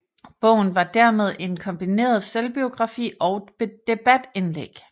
Bogen var dermed en kombineret selvbiografi og debatindlæg